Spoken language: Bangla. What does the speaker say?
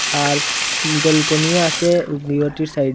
আর ব্যালকনিও আসে সাই--